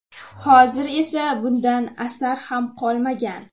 Hozir esa bundan asar ham qolmagan.